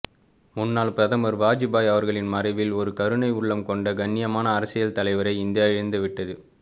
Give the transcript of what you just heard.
முன்னாள் பிரதமர் வாஜ்பாய் அவர்களின் மறைவில் ஒரு கருணை உள்ளம் கொண்ட கண்ணியமான அரசியல் தலைவரை இந்தியா இழந்துவிட்டது